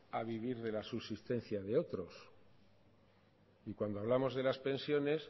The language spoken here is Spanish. a vivir de la subsistencia de otros y cuando hablamos de las pensiones